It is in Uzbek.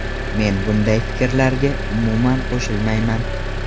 Men bunday fikrlarga, umuman, qo‘shilmayman.